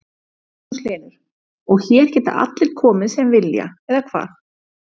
Magnús Hlynur: Og, hér geta allir komið sem vilja eða hvað?